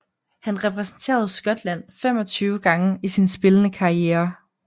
Han repræsenterede Skotland 25 gange i sin spillende karriere